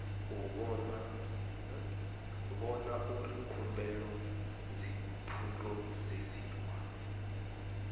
vhona uri khumbelo dzi phurosesiwa